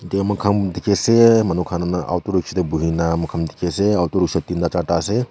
Etu mokhan dekhe ase manu khan auto rickshaw dae buhina mokhan dekhe ase auto rickshaw tinta charta ase.